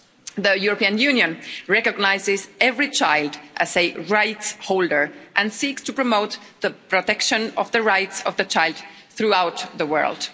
The European Union recognises every child as a right holder and seeks to promote the protection of the rights of the child throughout the world.